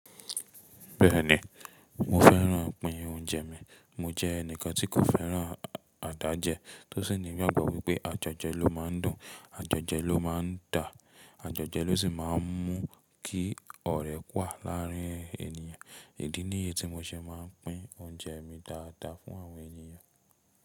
Bẹ́ẹ̀ni, mo fẹ́ràn-an pị́n oúnjẹ mi. Mo jẹ́ ẹnìkan tí kò fẹ́ràn-an àdájẹ́ tó sì ní ìgbàgbọ́ wípé àjọ̀jẹ ló máa ń dùn, àjọ̀jẹ ló máa ń dà, àjọ̀jẹ ló sì máa ń mú kí ọ̀rẹ́ wà láàárín ènìyàn. Idi niyi tí mo ṣe máa ń pín oúnjẹ mi dáadáa fún àwọn ènìyàn.